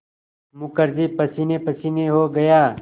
मुखर्जी पसीनेपसीने हो गया